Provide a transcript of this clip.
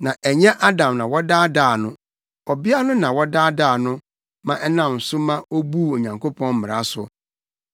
Na ɛnyɛ Adam na wɔdaadaa no. Ɔbea no na wɔdaadaa no ma ɛnam so ma obuu Onyankopɔn mmara so.